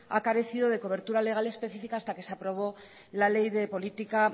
ha carecido de cobertura legal específica hasta que se aprobó la ley de política